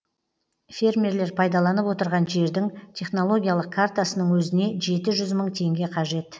фермерлер пайдаланып отырған жердің технологиялық картасының өзіне жеті жүз мың теңге қажет